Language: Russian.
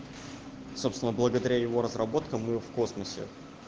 собственно благодаря его разработкам мы в космосе